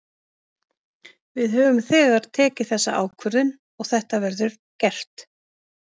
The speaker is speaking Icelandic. Við höfum þegar tekið þessa ákvörðun og þetta verður gert.